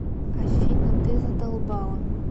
афина ты задолбала